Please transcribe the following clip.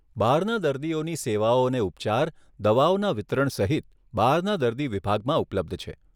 બહારના દર્દીઓની સેવાઓ અને ઉપચાર, દવાઓના વિતરણ સહિત, બહારના દર્દીઓ વિભાગમાં ઉપલબ્ધ છે.